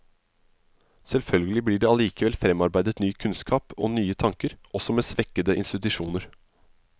Selvfølgelig blir det allikevel fremarbeidet ny kunnskap, og nye tanker, også med svekkede institusjoner.